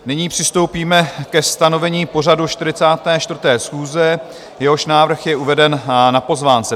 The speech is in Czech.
Nyní přistoupíme ke stanovení pořadu 44. schůze, jehož návrh na uveden na pozvánce.